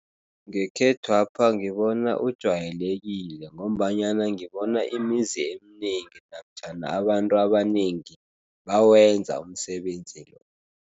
Ngekhethwapha ngibona ujwayelekile ngombanyana ngibona imizi eminengi namtjhana abantu abanengi bawenza umsebenzi lo.